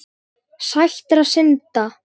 Sætra synda.